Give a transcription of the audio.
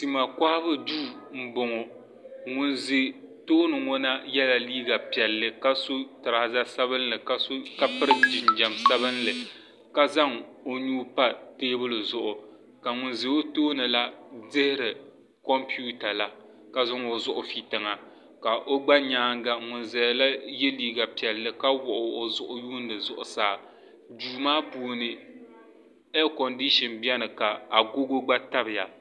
tima kɔhibu duu m-bɔŋɔ ŋun ʒi tooni ŋɔ ha yela liiga piɛlli ka sɔ tiraaza sabinli ka piri jinjam sabinli ka zaŋ o nuu pa teebuli zuɣu ka ŋun za o tooni la diri kompiuta la ka zaŋ o zuɣu fi tiŋa ka gba nyaaga ŋun zaya la gba ye liiga piɛlli ka wuɣi o zuɣu n-yuundi zuɣusaa duu maa puuni aaiyi kondishin beni ka agogo gba tabi ya.